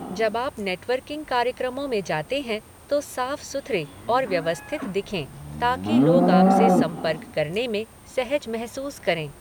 जब आप नेटवर्किंग कार्यक्रमों में जाते हैं तो साफ सुथरे और व्यवस्थित दिखें ताकि लोग आपसे संपर्क करने में सहज महसूस करें।